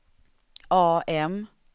AM